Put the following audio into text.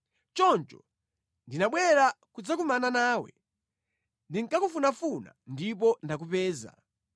Choncho ndinabwera kudzakumana nawe; ndinkakufunafuna ndipo ndakupeza!